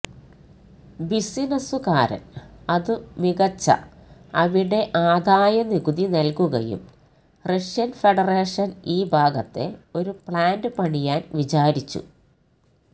ബിസിനസുകാരൻ അതു മികച്ച അവിടെ ആദായ നികുതി നൽകുകയും റഷ്യൻ ഫെഡറേഷൻ ഈ ഭാഗത്തെ ഒരു പ്ലാന്റ് പണിയാൻ വിചാരിച്ചു